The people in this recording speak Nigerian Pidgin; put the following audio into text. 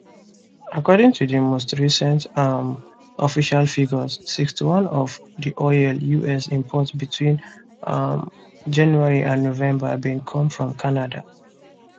according to most recent um official figures 61 of di oil us import between um january and november bin come from canada